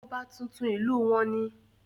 ọba tuntun ìlú wọn ni